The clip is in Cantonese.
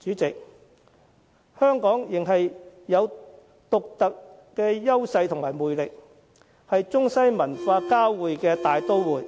主席，香港仍有獨特優勢和魅力，是中西文化交匯的大都會，